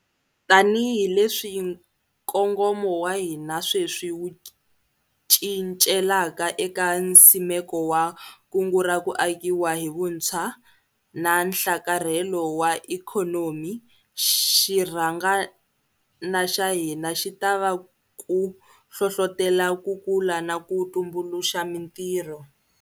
Tanihileswi nkongomo wa hina sweswi wu cincelaka eka nsimeko wa Kungu ra ku Akiwa hi Vuntshwa na Nhlakarhelo wa Ikhonomi, xirhangana xa hina xi ta va ku hlohlotela ku kula na ku tumbuluxa mitirho.